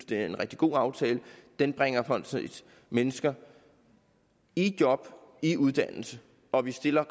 det er en rigtig god aftale den bringer mennesker i job og i uddannelse og vi stiller